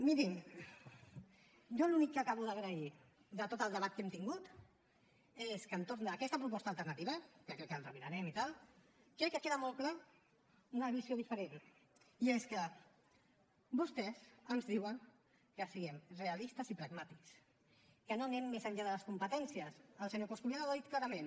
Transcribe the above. mirin jo l’únic que acabo d’agrair de tot el debat que hem tingut és que entorn d’aquesta proposta alternativa que ens la mirarem i tal crec que queda molt clara una visió diferent i és que vostès ens diuen que siguem realistes i pragmàtics que no anem més enllà de les competències el senyor coscubiela ho ha dit clarament